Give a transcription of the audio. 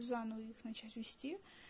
заново их начать вести